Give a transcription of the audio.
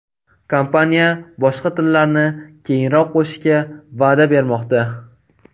Kompaniya boshqa tillarni keyinroq qo‘shishga va’da bermoqda.